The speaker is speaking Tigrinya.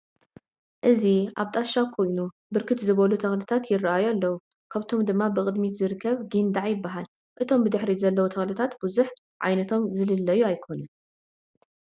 እዚ አብ ጣሻ ኮይኑ ብርክት ዝበሉ ትክልታት የረአዩ አለዉ ካብኣቶም ድማብቅድሚትዝርከብ ጊንዳዕ ይበሃል፡፡ እቶም ብድሕሪት ዘለዉ ተክልታት ብዙሕ ዓይነቶም ዝልለዩ አይኮኑን፡፡